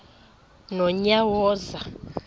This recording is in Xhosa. nonyawoza